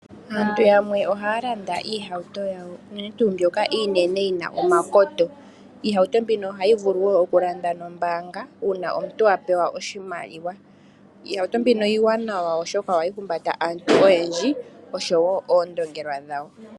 Aantu yamwe ohaya landa iihatu yawo unene tuu mbyoka iinene yina omakoto. Iihauto mbika oahyi vulu okulandwa noombanga, uuna omuntu apewa oshimaliwa. Iihauto mbika iiwanawa oshoka ohayi humbata aantu oyendji osho wo oondongelwa dhawo.